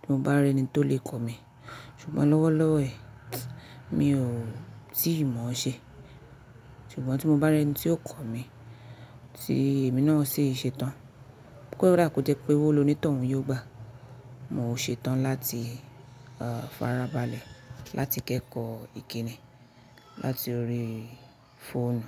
tí mo bá rí ẹni tó lè kọ̀ mí, ṣùgbọ́n lọ́wọ́lọ́wọ́ ẹ mi ò tìí mọ̀ ọ́ ṣe. Ṣùgbọ́n tí mo bá rí ẹni tí yóò kọ̀ mí tí èmi náà o sì ṣe tán, kó dà kò jẹ́ pé owò ló ní tọ̀ún yóò gbàá. Mo ṣetán láti farabalẹ̀ láti kẹ́kọ̀ọ́ ìkíni láti orí fóònù.